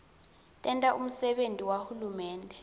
tenta umsebenti wahulumende